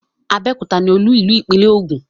Abẹ́òkúta ní olú-ìlú ìpínlẹ̀ Ogun.